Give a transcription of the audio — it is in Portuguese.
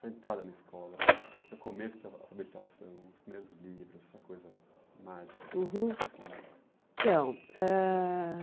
Sua entrada na escola, seu começo de alfabetização, os primeiros livros, essa coisa mágica. Uhum. Esse mundo. Então ãh